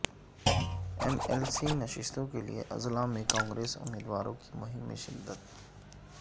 M L C نشستوں کیلئے اضلاع میں کانگریس امیدواروں کی مہم میں شدت